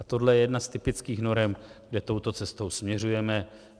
A tohle je jedna z typických norem, kde touto cestou směřujeme.